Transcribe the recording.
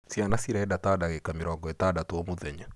Ciana cienda ta dangĩka mĩrongo ĩtandatũ o mũthenya.